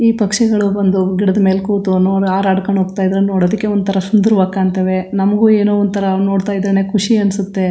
ಈ ಪಕ್ಷಿಗಳು ಬಂದು ಗಿಡದ್ ಮೇಲೆ ಕೂತು ನೋಡ್ ಹಾರಾಡ್ಕೊಂಡು ಹೋಗ್ತಾ ಇದ್ರೆ ನೋಡೊದಿಕ್ಕೆ ಒಂತರ ಸುಂದರವಾಗಿ ಕಾಣ್ತವೆ ನಮ್ಗು ಏನೋ ಒಂತರ ನೋಡ್ತಾ ಇದ್ರೇನೆ ಖುಷಿ ಅನ್ಸುತ್ತೆ.